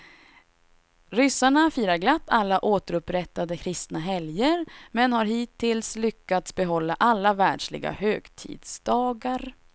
Ryssarna firar glatt alla återupprättade kristna helger, men har hittills lyckats behålla alla världsliga högtidsdagar.